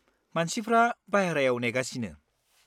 मानसिफ्रा बायहेरायाव नेगासिनो।